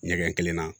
Ɲɛgɛn kelenna